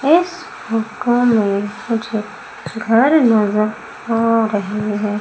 इस फोटो में मुझे घर नजर आ रही है।